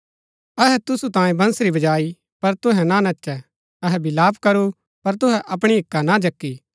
अहै तुसु तांयें बंसरी बजाई पर तुहै ना नचै अहै विलाप करू पर तुहै अपणी हिक्का ना जक्की